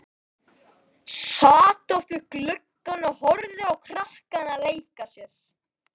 Sat oft við gluggann og horfði á krakkana leika sér.